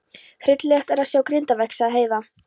Hryllilegt er að sjá grindverkið, sagði Heiða.